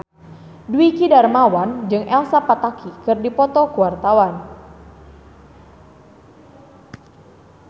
Dwiki Darmawan jeung Elsa Pataky keur dipoto ku wartawan